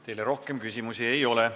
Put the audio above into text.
Teile rohkem küsimusi ei ole.